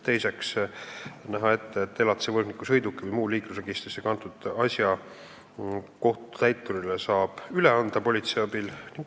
Teiseks nähakse ette, et elatise võlgniku sõiduki või muu liiklusregistrisse kantud asja saab kohtutäiturile üle anda politsei abil.